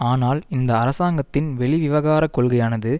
ஆனால் இந்த அரசாங்கத்தின் வெளிவிவகாரக் கொள்கையானது